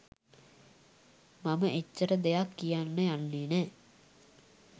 මම එච්චර දෙයක් කියන්න යන්නේ නෑ.